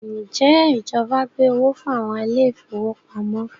Njẹ ìjọba gbé owó fún àwọn ile-ìfowópamó?